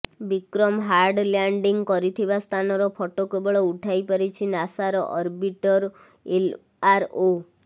Bikram hard landing କରିଥିବା ସ୍ଥାନର photo କେବଳ ଉଠାଇପାରିଛି ନାସାର ଅର୍ବିଟର ଏଲଆରଓ